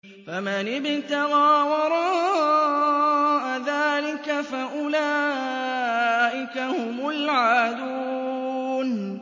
فَمَنِ ابْتَغَىٰ وَرَاءَ ذَٰلِكَ فَأُولَٰئِكَ هُمُ الْعَادُونَ